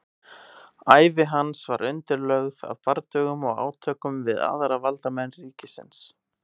ævi hans var undirlögð af bardögum og átökum við aðra valdamenn ríkisins